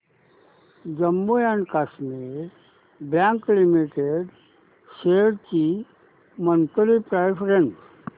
Jammu and Kashmir bank limited shares ची monthly price range